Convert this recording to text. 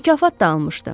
Mükafat da almışdı.